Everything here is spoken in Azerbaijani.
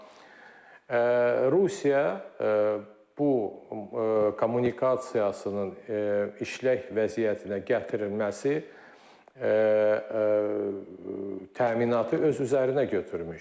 Amma Rusiya bu kommunikasiyasının işlək vəziyyətinə gətirilməsi təminatı öz üzərinə götürmüşdü.